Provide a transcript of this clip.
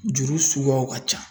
Juru suguyaw ka ca